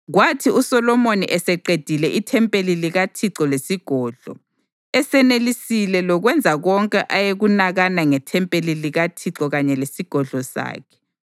Kwathi uSolomoni eseqedile ithempeli likaThixo lesigodlo, esenelisile lokwenza konke ayekunakana ngethempeli likaThixo kanye lesigodlo sakhe,